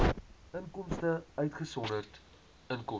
inkomste uitgesonderd inkomste